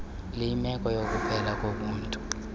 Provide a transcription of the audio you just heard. luyimeko yokuphela kobuntu